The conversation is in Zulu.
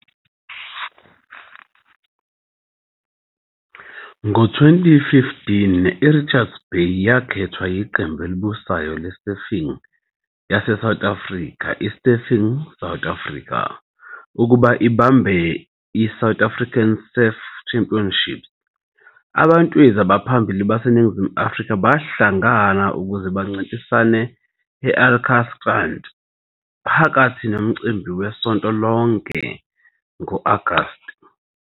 Ngo-2015 iRichards Bay yakhethwa yiqembu elibusayo le-surfing yaseNingizimu Afrika, i-Surfing South Africa, SSA, ukuba ibambe i-South African Surf Championships. Abantwezi abaphambili baseNingizimu Afrika bahlangana ukuze bancintisane e-Alkantstrand phakathi nomcimbi wesonto lonke ngo-Agasti.